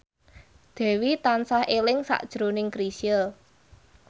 Dewi tansah eling sakjroning Chrisye